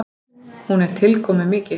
Hún er tilkomumikil.